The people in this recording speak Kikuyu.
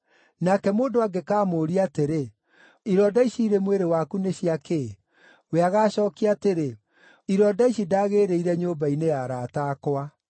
Nake mũndũ angĩkamũũria atĩrĩ, ‘Ironda ici irĩ mwĩrĩ waku nĩ cia kĩ?’ we agaacookia atĩrĩ, ‘Ironda ici ndagĩĩrĩire nyũmba-inĩ ya arata akwa.’